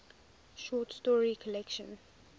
short story collection